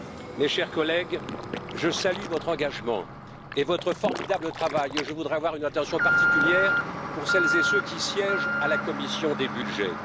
Mes chers collègues, je salue votre engagement et votre formidable travail et je voudrais avoir une attention particulière pour celles et ceux qui siègent à la commission des budgets.